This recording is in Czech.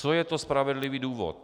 Co je to spravedlivý důvod?